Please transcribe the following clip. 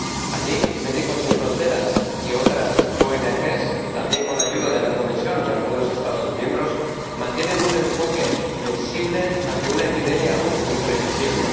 Allí, Médicos Sin Fronteras y otras ONG, también con la ayuda de la Comisión y algunos Estados miembros, mantienen un enfoque flexible ante una epidemia aún imprevisible.